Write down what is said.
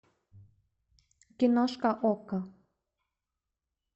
киношка окко